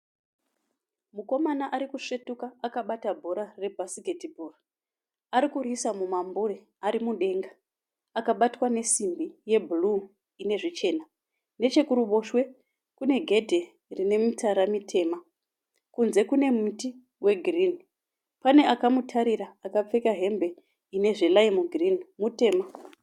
Mukomana arikusvetuka akabata bhora rebhasiketibhoo. Arikuriisa mumambure arimudenga akabatwa nesimbi yebhuruu inezvichena. Nechekuruboshwe kunegedhe rinemitsara mitema. Kunze kune muti wegirinhi. Pane akamutarira akapfeka hembe inezveraimu girini, mutema.